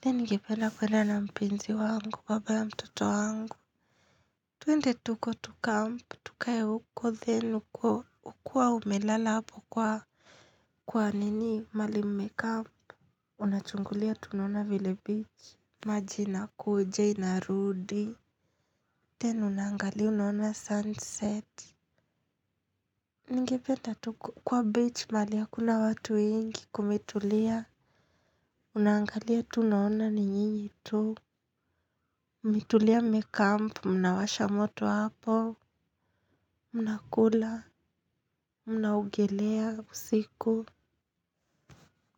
Then ningependa kwenda na mpenzi wangu, baba ya mtoto wangu. Tuende tuko tu camp. Tukae huko, then uko. Ukua umelala hapo kwa nini maali mmecamp. Unachungulia tunaona vile beach. Maji inakuja inarudi. Then unaangalia unaona sunset. Ningependa tu kwa beach maali hakuna watu wengi kumetulia. Unaangalia tu unaona ni nyinyi tu mmetulia mmecamp, mnawasha moto hapo mnakula, mnaogelea usiku.